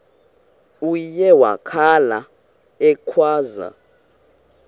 uye wakhala ekhwaza